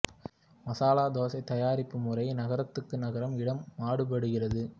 மசாலா தோசை தயாரிப்பு முறை நகரத்துக்கு நகரம் இடம் மாறுபடுகிறது